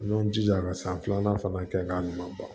N'o jija ka san filanan fana kɛ k'a ɲuman ban